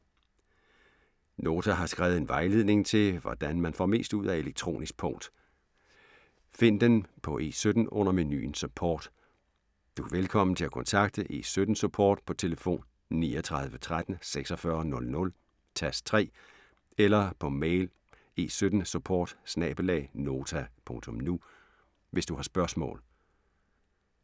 Nota har skrevet en vejledning til, hvordan man får mest ud af elektronisk punkt. Find den på E17, under menuen Support. Du er velkommen til at kontakte E17-Support på telefon 39 13 46 00, tast 3, eller på mail E17Support@nota.nu, hvis du har spørgsmål.